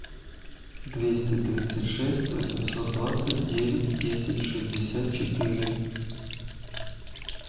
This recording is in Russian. двести тридцать шесть восемьсот двадцать девять десять шестьдесят четыре